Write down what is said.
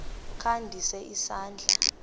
kha ndise isandla